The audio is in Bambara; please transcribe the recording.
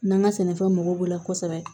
N'an ka sɛnɛfɛn mɔgɔw b'o la kosɛbɛ